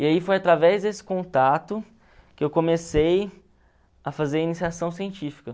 E aí foi através desse contato que eu comecei a fazer iniciação científica.